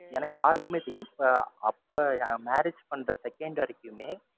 ஏன்னா யாருக்குமே தெரியல. இப்ப, அப்ப marriage பண்ற second வரைக்குமே